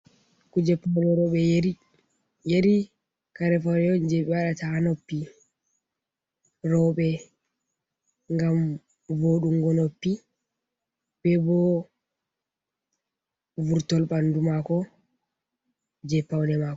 Kuje paune roɓe yari, yari cari faune on je ɓe waɗata ha noppi roɓe gam voɗungo noppi, be bo vurtol bandu mako je paune mako.